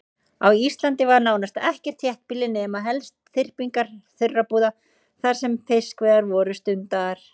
Á Íslandi var nánast ekkert þéttbýli nema helst þyrpingar þurrabúða þar sem fiskveiðar voru stundaðar.